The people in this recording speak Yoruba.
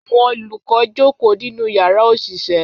Àwọn olùkọ́ jókòó nínú yàrá òṣìṣẹ́